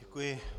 Děkuji.